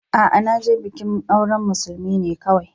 A'a, na je bikin auren musulmi ne kawai.